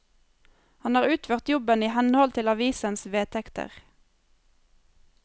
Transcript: Han har utført jobben i henhold til avisens vedtekter.